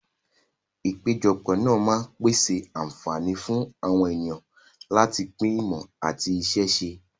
Ìpéjọpọ̀ máa ń pèsè àǹfààní fún àwọn ènìyàn láti pín ìmọ̀ àti iṣẹ́ ṣíṣe.